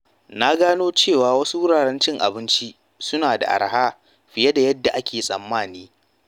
Na gano cewa wasu wuraren cin abinci suna da araha fiye da yadda ake tsammani.